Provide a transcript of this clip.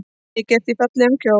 Mikið ertu í fallegum kjól.